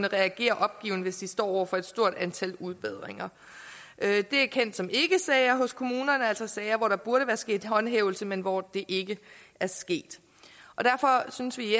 reagerer opgivende hvis de står over for et stort antal udbedringer det er kendt som ikkesager hos kommunerne altså sager hvor der burde være sket håndhævelse men hvor det ikke er sket derfor synes vi